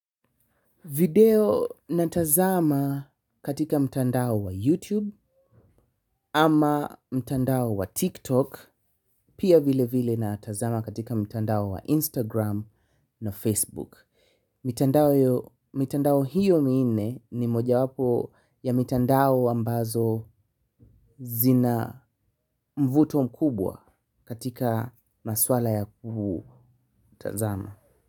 Video natazama katika mtandao wa YouTube ama mtandao wa TikTok pia vilevile natazama katika mtandao wa Instagram na Facebook. Mitandao hiyo minne ni mojawapo ya mitandao ambazo zina mvuto mkubwa katika masuala ya kutazama.